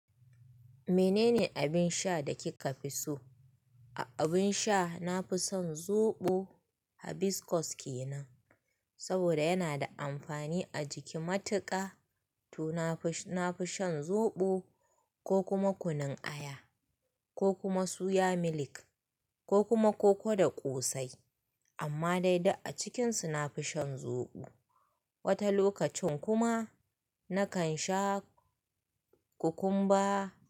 Menene abin sha da kika fi so? A abin sha nafi son zoɓo hibiscus kenan. Saboda yana da amfani a jiki matuƙa. To nafi, nafishan zoɓo ko kuma kunun aya ko kuma suya milk ko kuma koko da ƙosai. Amma dai duk a cikinsu nafison zoɓo. Wata lokacin kuma nakan sha kukumba.